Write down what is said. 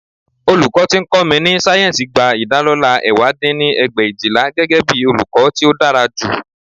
Olùkọ́ tí ó ń kọ́ mi ní sáyẹ́ǹsì gba ìdálọlá ẹ̀wá dín ní ẹgbẹ̀éjìlá, gẹ́gẹ́bí olùkọ́ tí ó dára jù